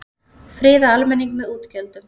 Friða almenning með útgjöldum